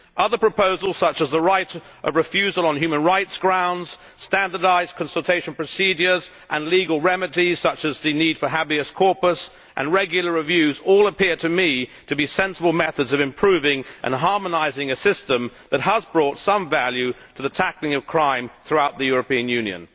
Other proposals, such as the right of refusal on human rights grounds, standardised consultation procedures, legal remedies such as the need for Habeas corpus and regular reviews, all appear to me to be sensible methods of improving and harmonising a system which has brought some value to the tackling of crime throughout the European Union.